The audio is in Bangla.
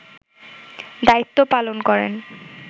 দায়িত্ব পালন করেন